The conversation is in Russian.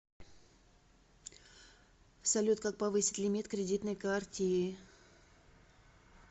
салют как повысить лимит кредитной картиы